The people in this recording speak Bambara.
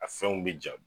A fɛnw bɛ ja